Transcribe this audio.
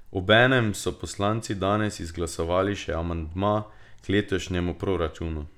Obenem so poslanci danes izglasovali še amandma k letošnjemu proračunu.